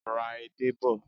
Ra edé bọ̀.